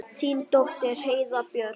Þín dóttir Heiða Björk.